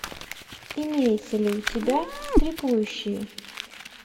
имеется ли у тебя трипующие